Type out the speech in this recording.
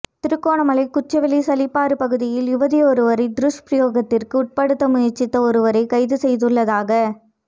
திருகோணமலை குச்சவெளி சலப்பையாறு பகுதியில் யுவதியொருவரை துஷ்பிரயோகத்திற்கு உட்படுத்த முயற்சித்த ஒருவரை கைது செய்துள்ளதாக